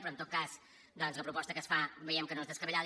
però en tot cas doncs la proposta que es fa veiem que no és descabellada